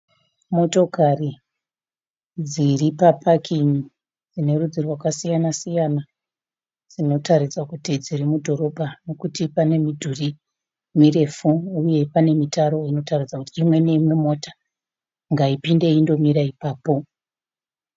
Motokari dziri papakin'i dzine rudzi rwakasiyana siyana. Dzinotaridza kuti dziri mudhorobha nokuti pane midhuri mirefu uye pane mitaro inotaridza kuti imwe neimwe mota ngaipinde indomira ipapo.